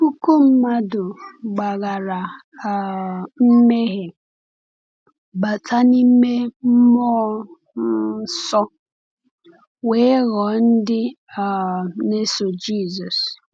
Puku mmadụ gbaghara um mmehie, bata n’ime mmụọ um nsọ, wee ghọọ ndị um na-eso Jisọs.